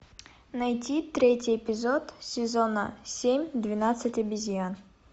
найди третий эпизод сезона семь двенадцать обезьян